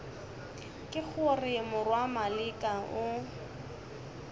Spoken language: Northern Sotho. ke gore morwa maleka o